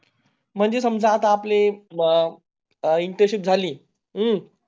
म्हणजे समझ आपले अं Intership झाली अं